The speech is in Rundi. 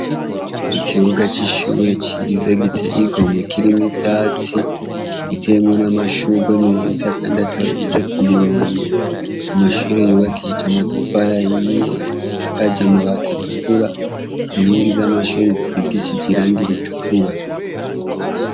Ikibuga c'ishure ciza giteye igomwe kirimwo ivyatsi, giteyemwo n'amashurwe meza kandi atonze ku murongo. Amashure yubakishije amatafari ahiye, asakaje amabati atukura, inkingi z'amashure zisigishije irangi ritukura.